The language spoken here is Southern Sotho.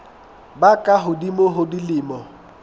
ba ka hodimo ho dilemo